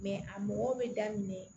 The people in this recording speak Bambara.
a mɔgɔw bɛ daminɛ